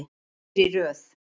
Þrír í röð.